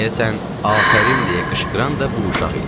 Deyəsən, “Afərin” deyə qışqıran da bu uşaq idi.